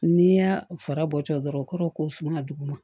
N'i y'a fara bɔtɔ dɔrɔn o kɔrɔ ye ko sun ka duguma